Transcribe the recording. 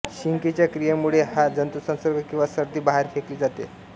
शिंकेच्या क्रियेमुळे हा जंतुसंसर्ग किंवा सर्दी बाहेर फेकली जाते